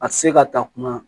A tɛ se ka ta kuma